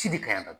Si de ka ɲi ka